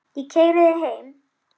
Ég keyri þig heim.